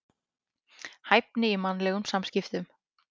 Hæfni í mannlegum samskiptum.